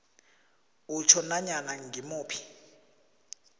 utjho nanyana ngimuphi